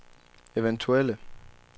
eventuelle